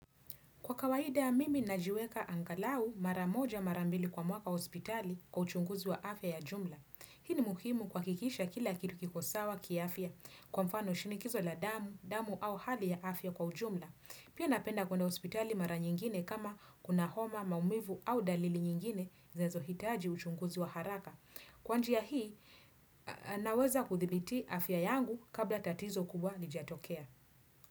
Kwa kawaida mimi na jiweka angalau maramoja marambili kwa mwaka hospitali kwa uchunguzi wa afya ya jumla. Hii ni mukimu kuhakikisha kila kilu kikosawa kiafya kwa mfano shinikizo la damu, damu au hali ya afya kwa ujumla. Pia napenda kwenda hospitali mara nyingine kama kuna homa, maumivu au dalili nyingine zinazohitaji uchunguzi wa haraka. Kwa njia hii naweza kuthibiti afya yangu kabla tatizo kubwa lijatokea.